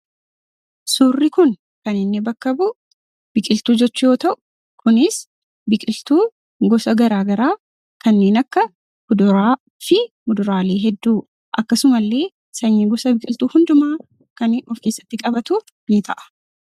Suurri kun kan inni bakka bu'u biqiltuu jechuu yoo ta'u, kunis biqiltuu gosa garaagaraa kanneen akka kuduraa fi muduraalee hedduu akkasuma illee sanyii gosa biqiltuu hundumaa kani of keessatti qabatu ni ta'a.